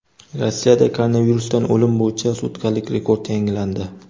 Rossiyada koronavirusdan o‘lim bo‘yicha sutkalik rekord yangilandi.